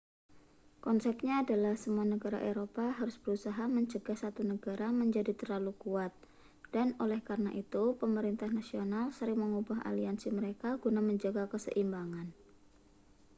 konsepnya adalah semua negara eropa harus berusaha mencegah satu negara menjadi terlalu kuat dan oleh karena itu pemerintah nasional sering mengubah aliansi mereka guna menjaga keseimbangan